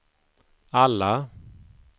alla